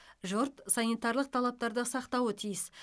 жұрт санитарлық талаптарды сақтауы тиіс